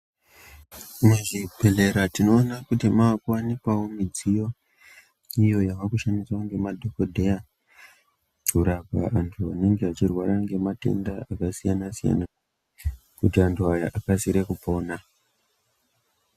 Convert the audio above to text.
Muzvibhedhlera tinoona kuti maakuwanikawo midziyo, iyo yavakushandiswa ngemadhokodheya, kurapa antu anenge achirwara ngematenda akasiyana-siyana, kuti antu aya akasire kupona.